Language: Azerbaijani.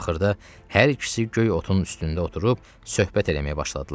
Axırda hər ikisi göy otun üstündə oturub söhbət eləməyə başladılar.